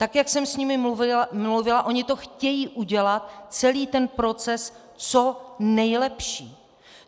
Tak jak jsem s nimi mluvila, oni to chtějí udělat, celý ten proces, co nejlepší.